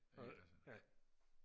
ikke altså